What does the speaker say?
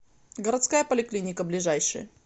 городская поликлиника ближайший